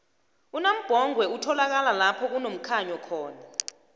unambhongwe utholakala lapho kunomkhanyo khona